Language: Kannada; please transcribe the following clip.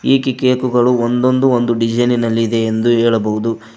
ಕೇಕುಗಳು ಒಂದೊಂದು ಒಂದು ಡಿಸೈನ್ ನಲ್ಲಿ ಇದೆ ಎಂದು ಹೇಳಬಹುದು.